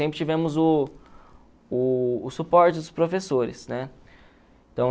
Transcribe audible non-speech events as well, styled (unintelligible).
Sempre tivemos o o o suporte dos professores, né? (unintelligible)